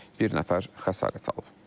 Bir nəfər xəsarət alıb.